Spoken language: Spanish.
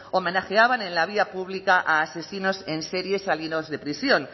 homenajeaban en la vía pública a asesinos en serie salidos de prisión